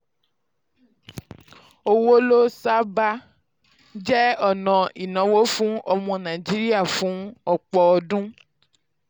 owó ló sábà um jẹ́ ọ̀nà ìnáwó fún ọmọ nàìjíríà fún ọ̀pọ̀ ọdún.